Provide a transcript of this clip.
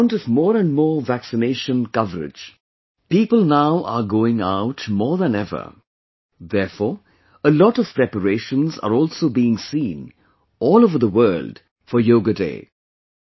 On account of more and more vaccination coverage, people now are going out more than ever; therefore, a lot of preparations are also being seen all over the world for 'Yoga Day'